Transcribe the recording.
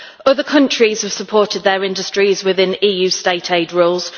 Other countries have supported their industries within EU state aid rules